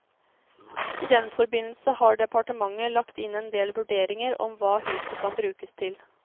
I den forbindelse har departementet lagt inn endel vurderinger om hva huset kan brukes til.